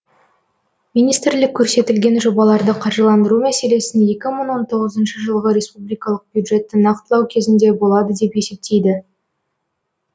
министрлік көрсетілген жобаларды қаржыландыру мәселесін екі мың он тоғызыншы жылғы республикалық бюджетті нақтылау кезінде болады деп есептейді